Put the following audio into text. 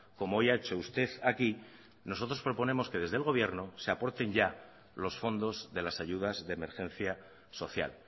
como hoy ha hecho usted aquí nosotros proponemos que desde el gobierno se aporten ya los fondos de las ayudas de emergencia social